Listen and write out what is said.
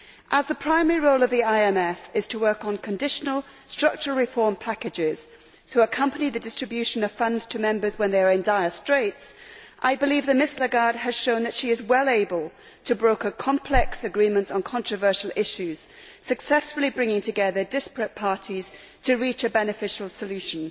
As the primary role of the IMF is to work on conditional structural reform packages to accompany the distribution of funds to members when they are in dire straits, I believe that Ms Lagarde has shown that she is well able to broker complex agreements on controversial issues, successfully bringing together disparate parties to reach a beneficial solution.